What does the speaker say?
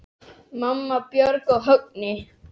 Mamma, Björk og Högni.